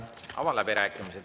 Avan läbirääkimised.